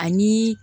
Ani